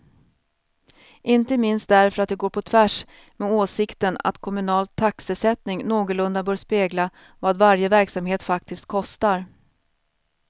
Inte minst därför att det går på tvärs med åsikten att kommunal taxesättning någorlunda bör spegla vad varje verksamhet faktiskt kostar.